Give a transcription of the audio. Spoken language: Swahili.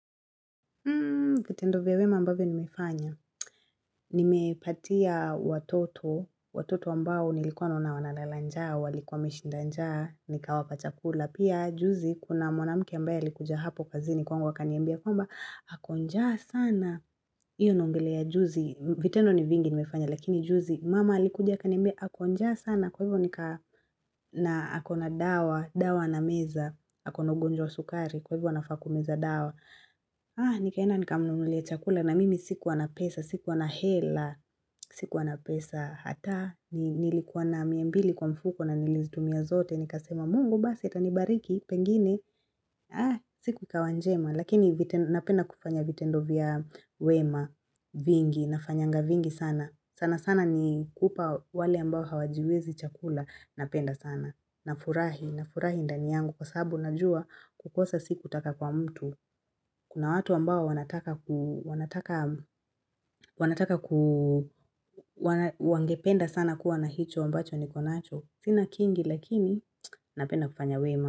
Vitendo vya wema ambavyo nimefanya. Nimepatia watoto, watoto ambao nilikuwa naona wanalala njaa, walikuwa wameshida njaa, nikawapa chakula. Pia, juzi, kuna mwanamke ambaye alikuja hapo kazini kwangu akaniambia kwamba, ako njaa sana. Hiyo naongelea juzi, vitendo ni vingi nimefanya, lakini juzi mama alikuja akaniambia ako njaa sana. Kwa hivyo nika na akona dawa, dawa na anameza, akona ugonjwa wa sukari, kwa hivyo anafaa kumeza dawa. Nikaenda nikamnunulia chakula na mimi sikuwa na pesa, sikuwa na hela, sikuwa na pesa Hata nilikuwa na mia mbili kwa mfuko na nilimtumia zote nikasema mungu basi itanibariki pengine siku ikawa njema lakini napenda kufanya vitendo vya wema vingi nafanyanga vingi sana sana sana ni kupa wale ambao hawajiwezi chakula napenda sana na furahi na furahi ndani yangu kwa sababu najua kukosa siku taka kwa mtu Kuna watu ambao wanataka ku wanataka wanataka wangependa sana kuwa na hicho ambacho nikonacho. Sina kingi lakini napenda kufanya wema.